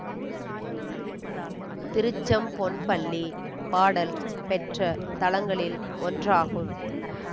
திருச்செம்பொன்பள்ளி பாடல் பெற்ற தலங்களில் ஒன்றாகும்